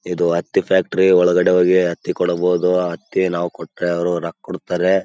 ಇದು ಹತ್ತಿ ಫ್ಯಾಕ್ಟರಿ ಒಳಗಡೆ ಹೋಗಿ ಹತ್ತಿಕೊಡಬಹುದು ಹತ್ತಿ ನೋವು ಕೊಟ್ರೆ ಅವರು ರೊಕ್ಕಕೊಡುತ್ತಾರೆ.